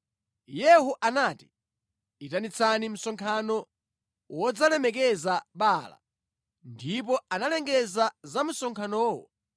Yehu anati, “Itanitsani msonkhano wodzalemekeza Baala.” Ndipo analengeza za msonkhanowo.